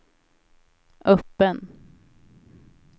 öppen